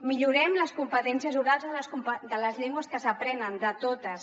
millorem les competències orals de les llengües que s’aprenen de totes